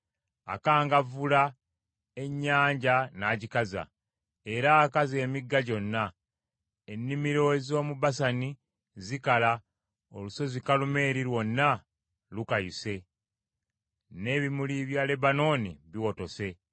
Akangavvula ennyanja n’agikaza era akaza emigga gyonna, ennimiro ez’omu Basani zikala, olusozi Kalumeeri lwonna lukayuse, n’ebimuli bya Lebanooni biwotose.